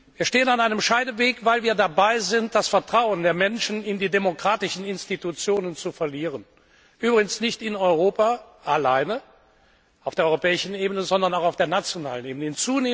Wir stehen an einem Scheideweg, weil wir dabei sind, das Vertrauen der Menschen in die demokratischen Institutionen zu verlieren. Übrigens nicht in Europa alleine, auf der europäischen Ebene, sondern auch auf der nationalen Ebene.